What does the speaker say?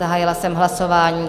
Zahájila jsem hlasování.